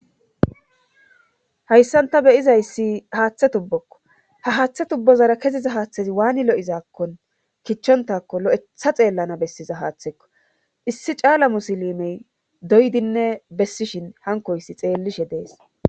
hayssanta beyizayssi haaththe tubbokko ha haaththe tubbozara keziza haaththezi waani lo7izakkon kichchontakko lo7etha xeellana bessiza haaththekko issi caala musilimey doydinne bessishin hankoyssi xeellishe dees